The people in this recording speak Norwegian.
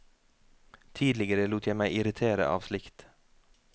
Tidligere lot jeg meg irritere av slikt.